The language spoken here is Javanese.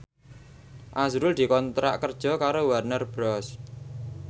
azrul dikontrak kerja karo Warner Bros